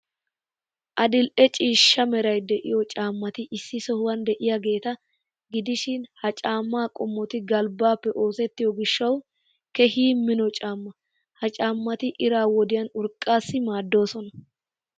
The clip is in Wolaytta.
Adil''e ciishsha meray de'iyoo caammati issi sohuwan de'iyaageeta gidishin ha caammaa qommoti galbbaappe oosettiyoo gishshawu keehi mino caammaa. Ha caammati iraa wodiyan urqqaassi maaddoosona.